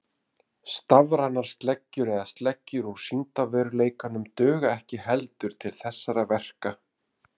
Stafrænar sleggjur eða sleggjur úr sýndarveruleikanum duga ekki heldur til þessara verka.